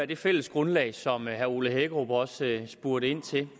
det fælles grundlag som herre ole hækkerup også spurgte ind til